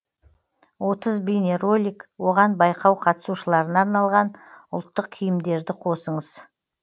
отыз бейнеролик оған байқау қатысушыларына арналған ұлттық киімдерді қосыңыз